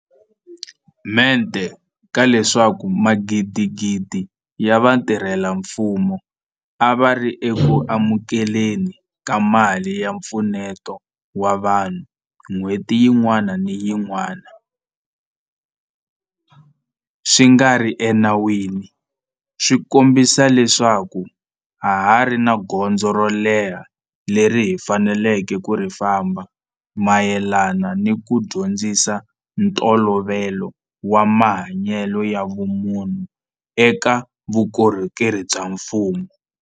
Mente ka leswaku magidigidi ya vatirhela mfumo a va ri eku amukele ni ka mali ya mpfuneto wa vanhu n'hweti yin'wana ni yin'wana swi nga ri enawini swi kombisa leswaku ha ha ri ni gondzo ro leha leri hi faneleke ku ri famba mayelana ni ku dyondzisa ntolovelo wa mahanyelo ya vumunhu eka vukorhokeri bya mfumo.